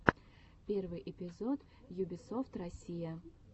первый эпизод юбисофт россия